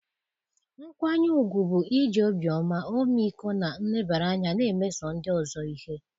nkwanye ùgwù bụ iji obiọma, ọmịiko, na nlebara anya na-emeso ndị ọzọ ihe.